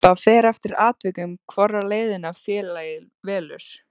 Það fer eftir atvikum hvora leiðina félagið velur.